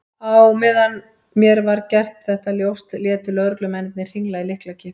Á meðan mér var gert þetta ljóst létu lögreglumennirnir hringla í lyklakippum.